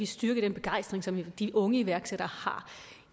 styrke den begejstring som de unge iværksættere